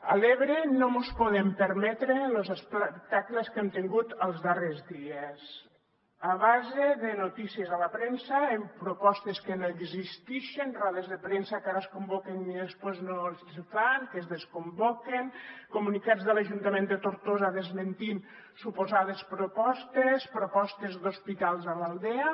a l’ebre no mos podem permetre los espectacles que hem tingut els darrers dies a base de notícies a la premsa amb propostes que no existixen rodes de premsa que ara es convoquen i després no se fan que es desconvoquen comunicats de l’ajun·tament de tortosa desmentint suposades propostes propostes d’hospitals a l’aldea